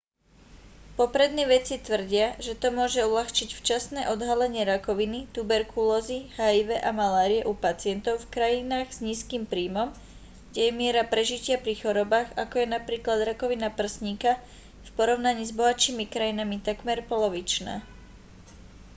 poprední vedci tvrdia že to môže uľahčiť včasné odhalenie rakoviny tuberkulózy hiv a malárie u pacientov v krajinách s nízkym príjmom kde je miera prežitia pri chorobách ako je napríklad rakovina prsníka v porovnaní s bohatšími krajinami takmer polovičná